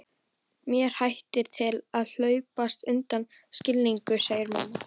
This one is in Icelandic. Mér hættir til að hlaupast undan skilningi, segir mamma.